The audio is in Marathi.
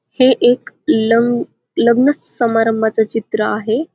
हे एक लं लग्न समारंभाच चित्र आहे.